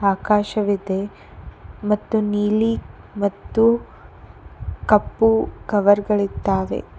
ಆಕಾಶವಿದೆ ಮತ್ತು ನೀಲಿ ಮತ್ತು ಕಪ್ಪು ಕವರ್ ಗಳಿದ್ದಾವೆ.